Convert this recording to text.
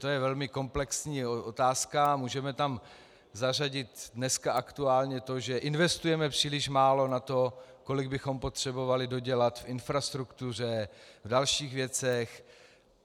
To je velmi komplexní otázka a můžeme tam zařadit dneska aktuálně to, že investujeme příliš málo na to, kolik bychom potřebovali dodělat v infrastruktuře, v dalších věcech.